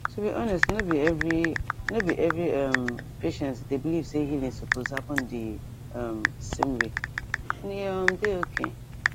to be honest no be every no be every um patient dey believe say healing suppose happen the um same wayand e um dey okay